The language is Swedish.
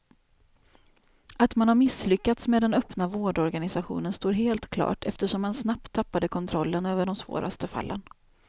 Att man har misslyckats med den öppna vårdorganisationen står helt klart eftersom man snabbt tappade kontrollen över de svåraste fallen.